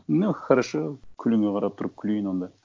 ну хорошо күліңе қарап тұрып күлейін онда